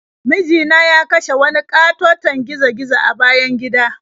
Miji na ya kashe wani ƙatoton gizo-gizo a bayan gida.